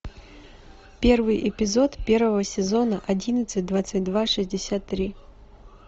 первый эпизод первого сезона одиннадцать двадцать два шестьдесят три